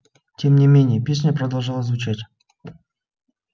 тем не менее песня продолжала звучать